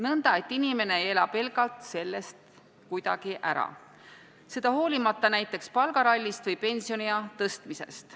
Nõnda et inimene ei ela pelgalt sellest kuidagi ära, seda hoolimata ka võimalikust palgarallist või pensioniea tõstmisest.